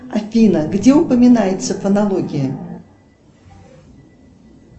афина где упоминается фонология